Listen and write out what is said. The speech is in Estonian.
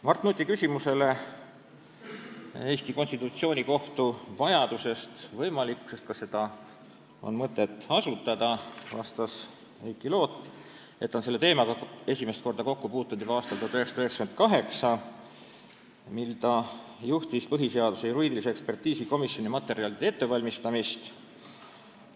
Mart Nuti küsimusele Eesti konstitutsioonikohtu vajalikkuse ja võimalikkuse kohta – kas seda on mõtet asutada – vastas Heiki Loot, et ta puutus selle teemaga esimest korda kokku juba aastal 1998, mil ta juhtis põhiseaduse juriidilise ekspertiisi komisjoni materjalide ettevalmistamist.